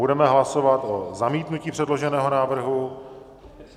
Budeme hlasovat o zamítnutí předloženého návrhu.